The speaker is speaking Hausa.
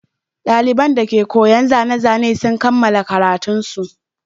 Ɗaliban dake koyon zane-zane sun kammala karatunsu.